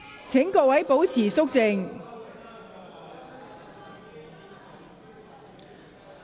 請各位保持肅靜。